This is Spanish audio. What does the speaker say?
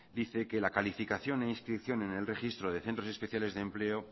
dice la calificación e inscripción en el registro de centros especiales de empleo